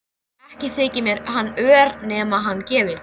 Ekki þyki mér hann ör nema hann gefi.